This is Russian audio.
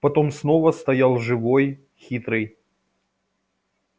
потом снова стоял живой хитрый